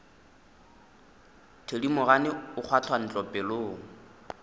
thedimogane o kgwatha ntho pelong